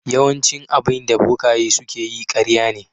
Yawaicin abinda bokaye suke yi ƙarya ne.